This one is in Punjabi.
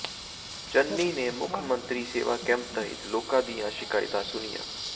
ਚੰਨੀ ਨੇ ਮੁੱਖ ਮੰਤਰੀ ਸੇਵਾ ਕੈਂਪ ਤਹਿਤ ਲੋਕਾਂ ਦੀਆਂ ਸ਼ਿਕਾਇਤਾਂ ਸੁਣੀਆਂ